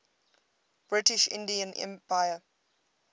british indian empire